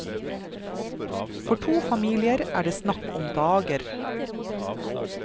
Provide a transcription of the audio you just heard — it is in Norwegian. For to familier er det snakk om dager.